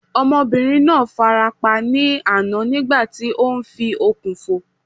Ọmọbìnrin náà fara pa ní àná nígbà tí ó ń fi okùn fò